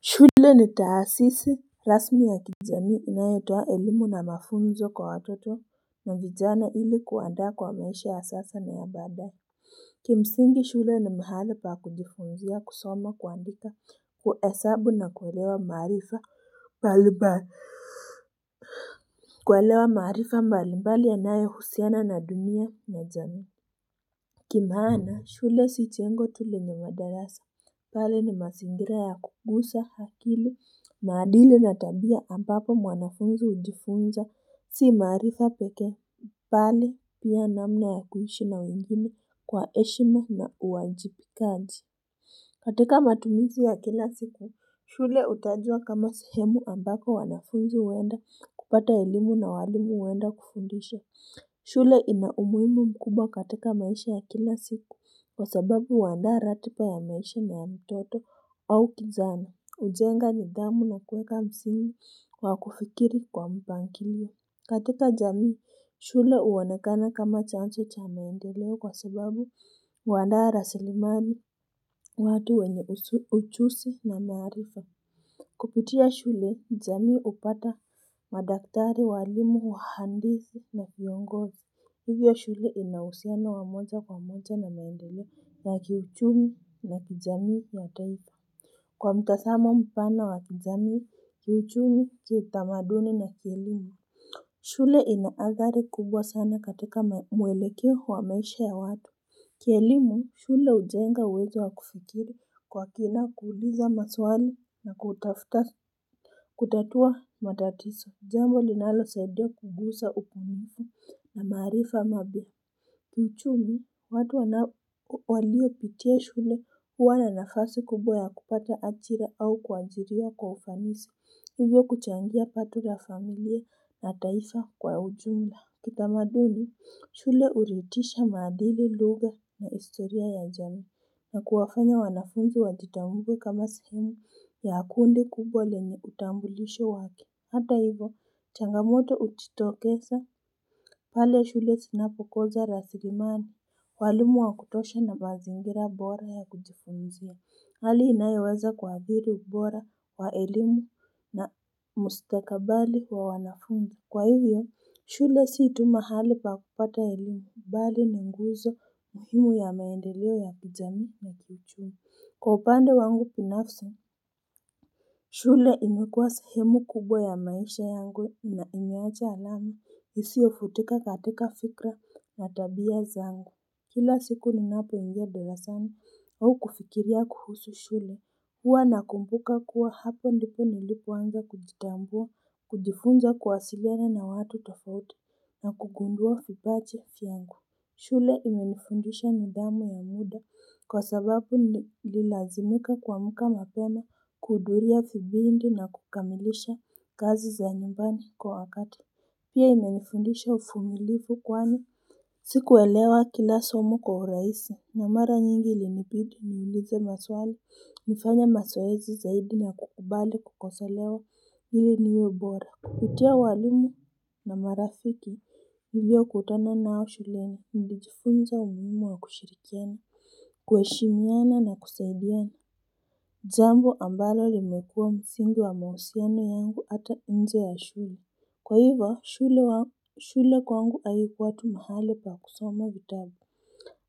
Shule ni taasisi rasmi ya kijamii inayotoa elimu na mafunzo kwa watoto na vijana ili kuwaandaa kwa maisha ya sasa na ya baada ki msingi shule ni mahali pa kujifunzia kusoma kuandika hesabu na kuekewa maarifa mbalimbali kualewa maarifa mbalimbali yanayo husiana na dunia na jamii kwa maana shule si jengo tu lenye madarasa bali ni mazingira ya kugusa akili maadili na tabia ambapo mwanafunzi hujifunza si maarifa pekee. Bali nia namna ya kuishi na wengine kwa heshima na uwajibikazi. Katika matumizi ya kila siku, shule hutajwa kama sehemu ambako wanafunzi huenda kupata elimu na walimu huenda kufundisha. Shule ina umuhimu mkubwa katika maisha ya kila siku kwa sababu huandaa ratiba ya maisha na ya mtoto au kijana. hUjenga nidhamu na kuweka msingi wa kufikiri kwa mpangilio. Katika jamii, shule huonekana kama chanzo cha meendeleo kwa sababu huandaa rasilimali watu wenye ujuzi na maarifa. Kupitia shule, jamii hupata madaktari walimu wahandisi na viongozi. Hivyo shule inauhusiano wamoja kwa moja na maendeleo ya kiuchumi na kijamii yataifa. Kwa mtazamo mpana wa kijamii, kiuchumi kiutamaduni na kielimu. Shule inaathari kubwa sana katika mwelekeo wa maisha ya watu Kielimu, shule hujenga uwezo wa kufikiri kwa kina kuuliza maswali na kutafuta kutatua matatizo, jambo linalo saidia kuguza ubunifu na maarifa mapya Kiuchumi, watu waliopitia shule huwana nafasi kubwa ya kupata ajira au kuajiriwa kwa ufanisi Hivyo kuchangia pato la familia na taifa kwa ujumla Kitamaduni shule huridhisha maadili lugha na historia ya jamii na kuwafanya wanafunzi wajitambuwe kama sehemu ya kundi kubwa lenye utambulisho wake Hata hivyo changamoto hujitokeza pale shule zinapo kosa rasilimali walimu wakutosha na mazingira bora ya kujifunzia Hali inayoweza kuadhiri ubora wa elimu na mustakabali wa wanafunzi. Kwa hivyo, shule si tu mahali pa kupata elimu bali ni nguzo muhimu ya maendeleo ya kijamii na kiuchumi. Kwa upande wangu binafsi, shule imekuwa sehemu kubwa ya maisha yangu na imeacha alama. Isio futika katika fikra na tabia zangu. Kila siku ninapoingia darasani au kufikiria kuhusu shule Hua nakumbuka kuwa hapa ndipo nilipo anza kujitambua kujifunza kuwasiliana watu tofauti na kugundua vipaji vyangu shule imenifundisha nidhamu ya muda kwa sababu nililazimika kuamka mapema kuhudhuria vipindi na kukamilisha kazi za nyumbani kwa wakati Pia imenifundisha uvumilivu kwani Sikuelewa kila somo kwa urahisi na mara nyingi ilinibidi niulize maswali nifanye mazoezi zaidi na kukubali kukosolewa ili niwe bora Kupitia walimu na marafiki nilio kutana nao shuleni nilijifunza umuhimu wa kushirikiana kuheshimiana na kusaidiana jambo ambalo limekua msingi wa mahusiano yangu hata nje ya shule Kwa hivyo shule kwangu haikuwa tu mahali pa kusoma vitabu